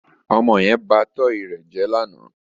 Ọmọ yẹn bá tọ́ì rẹ gẹ́ lánàá